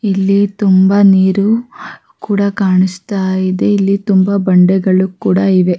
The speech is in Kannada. ಇಲ್ಲಿ ನೀರು ಹರೀತಾ ಇದೆ ಇಲ್ಲಿ ಮಣ್ಣಿನ ಮೇಲೆ ಹುಲ್ಲುಗಳು ಕೂಡ ಕಾಣಿಸುತ್ತ ಇದೆ.